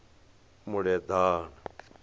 muleḓane